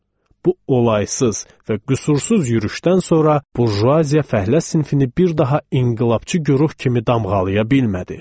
Bu olaysız və qüsursuz yürüşdən sonra burjuaziya fəhlə sinfini bir daha inqilabçı güruh kimi damğalaya bilmədi.